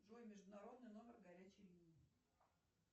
джой международный номер горячей линии